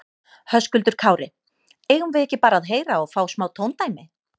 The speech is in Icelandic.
Höskuldur Kári: Eigum við ekki bara að heyra og fá smá tóndæmi?